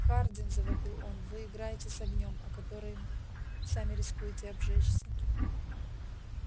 хардин завопил он вы играете с огнём о который сами рискуете обжечься